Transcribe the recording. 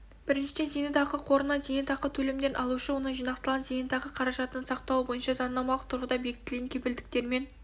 біріншіден зейнетақы қорынан зейнетақы төлемдерін алушы оның жинақталған зейнетақы қаражатының сақталуы бойынша заңнамалық тұрғыда бекітілген кепілдіктермен